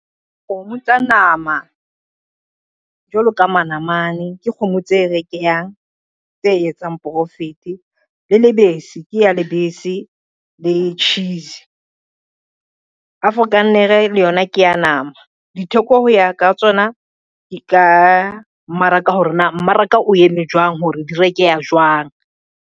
Kgomo tsa nama, jwalo ka manamane ke kgomo tse rekehang tse etsang profit le lebesi ke ya lebese le cheese. Afrikaner le yona ke ya nama, ditheko ho ya ka tsona di ka mmaraka hore na mmaraka o eme jwang hore di rekeha jwang.